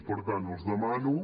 per tant els demano